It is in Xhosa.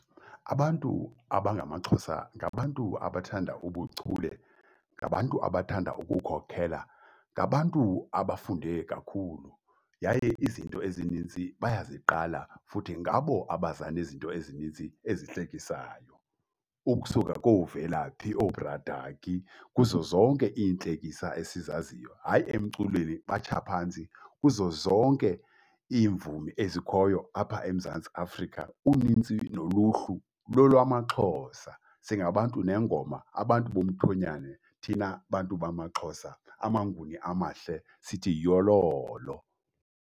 Abantu abangamaXhosa ngabantu abathanda ubuchule, ngabantu abathanda ukukhokhela, ngabantu abafunde kakhulu yaye izinto ezininzi bayaziqala. Futhi ngabo abaza nezinto ezininzi ezihlekisayo, ukusuka kooVelaphi ooBradaki, kuzo zonke iintlekisa esizaziyo. Hayi emculweni, batsha phantsi. Kuzo zonke iimvumi ezikhoyo apha eMzantsi Afrika, unintsi noluhlu lolwamaXhosa. Singabantu nengoma, abantu bomthonyane thina bantu bamaXhosa, amaNguni amahle. Sithi yololo.